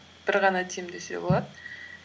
бір ғана тим десе болады